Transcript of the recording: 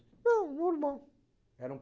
Não, normal. Era um